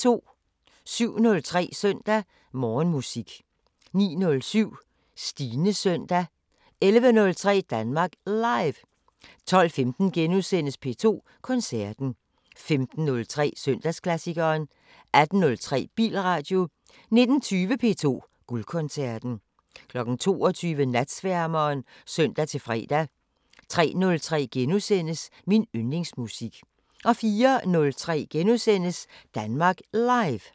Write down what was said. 07:03: Søndag Morgenmusik 09:07: Stines søndag 11:03: Danmark Live 12:15: P2 Koncerten * 15:03: Søndagsklassikeren 18:03: Bilradio 19:20: P2 Guldkoncerten 22:00: Natsværmeren (søn-fre) 03:03: Min yndlingsmusik * 04:03: Danmark Live *